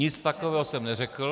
Nic takového jsem neřekl.